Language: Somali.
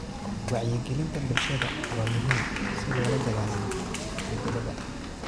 Wacyigelinta bulshada waa muhiim si loola dagaallamo isbedelada.